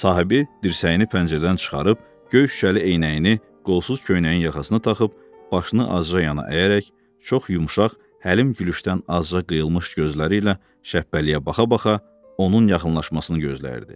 Sahibi dirsəyini pəncərədən çıxarıb, göy şüşəli eynəyini qolsuz köynəyinin yaxasına taxıb, başını azca yana əyərək çox yumşaq, həlim gülüşdən azca qıyılmış gözləri ilə Şəbpəliyə baxa-baxa onun yaxınlaşmasını gözləyirdi.